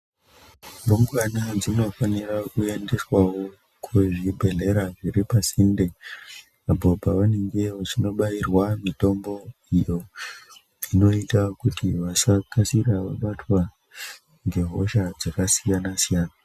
Rumbwana dzinofanirawo kuendeswawo kuzvibhedhlera zviri pasinde apo pavanenge vachindobairwa mitombo iyo inoita kuti vashandi vakasire kubatwa nehosha dzakasiyana siyana.